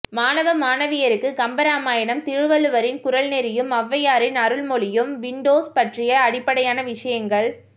மாணவ மாணவியருக்கு கம்பராமாயணம் திருவள்ளுவரின் குறள் நெறியும் ஒளவையாரின் அருள் மொழியும் விண்டோஸ் பற்றிய அடிப்படையான விஷயங்கள்